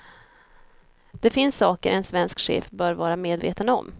Det finns saker en svensk chef bör vara medveten om.